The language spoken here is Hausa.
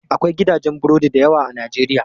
Akwai gidajen burodi dayawa a najeriya.